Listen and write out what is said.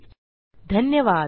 सहभागासाठी धन्यवाद